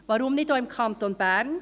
Weshalb nicht auch im Kanton Bern?